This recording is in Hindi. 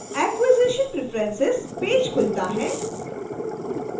acquisitions preferences पेज खुलता है